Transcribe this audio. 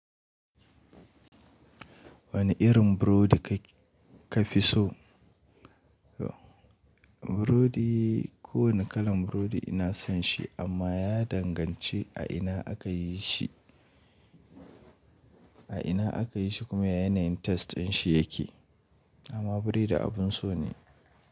Wane irin burodi ka fi so? Burodi, kowane kalan burodi ina son shi amma ya danganci a ina aka yi shi, a ina aka yi shi kuma yanayin taste ɗin shi ya ke. Amma burodi abun so ne.